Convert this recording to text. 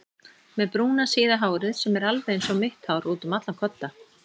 Með brúna síða hárið sem er alveg einsog mitt hár útum allan kodda.